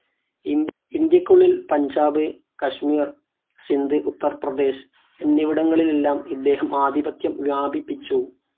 ഇന്ത്യക്കുള്ളിൽ പഞ്ചാബ്, കശ്മീർ, സിന്ധ്, ഉത്തർ പ്രദേശ് എന്നിവടിങ്ങളിലെല്ലാം ഇദ്ദേഹം ആധിപത്യം വ്യാപിപ്പിച്ചു.